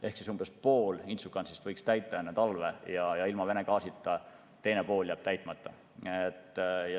Ehk siis umbes pool Inčukalnsi mahutist võiks täita enne talve ja ilma Vene gaasita, teine pool jääb täitmata.